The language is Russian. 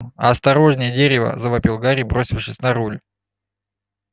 осторожнее дерево завопил гарри бросившись на руль